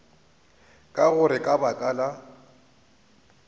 ka gore ka baka la